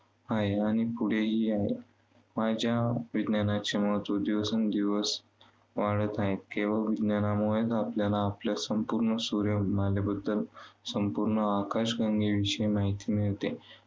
आहे. आणि पुढेही यावर विज्ञानाचे महत्त्व दिवसेंदिवस वाढत आहे. केवळ विज्ञानामुळे आपल्याला संपूर्ण सूर्यमालेबद्दल संपूर्ण आकाशगंगेविषयी माहिती मिळते.